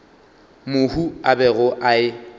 mohu a bego a e